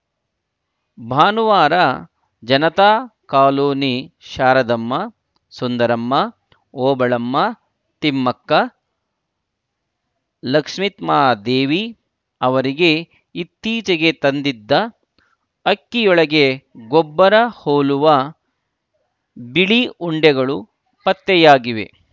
ಭಾನುವಾರ ಜನತಾ ಕಾಲೊನಿ ಶಾರದಮ್ಮ ಸುಂದರಮ್ಮ ಓಬಳಮ್ಮ ತಿಮ್ಮಕ್ಕ ಲಕ್ಷಿತ್ರ್ಮೕದೇವಿ ಅವರಿಗೆ ಇತ್ತೀಚೆಗೆ ತಂದಿದ್ದ ಅಕ್ಕಿಯೊಳಗೆ ಗೊಬ್ಬರ ಹೋಲುವ ಬಿಳಿ ಉಂಡೆಗಳು ಪತ್ತೆಯಾಗಿವೆ